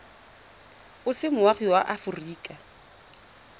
o se moagi wa aforika